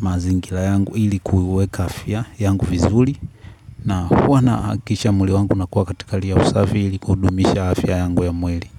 mazingira yangu ili kuweka afya yangu vizuri na huwa nahakikisha mwili wangu unakuwa katika hali ya usafi ili kudumisha afya yangu ya mwili.